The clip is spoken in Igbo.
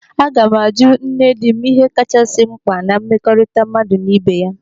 Aga m ajụ nne dị m ihe kachasị mkpa na mmekọrịta mmadụ na ị́bè ya.